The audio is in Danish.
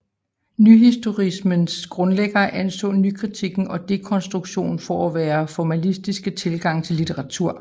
Nyhistorismens grundlæggere anså nykritikken og dekonstruktion for at være formalistiske tilgange til litteratur